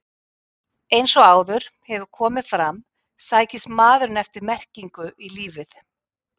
Eins og áður hefur komið fram sækist maðurinn eftir merkingu í lífið.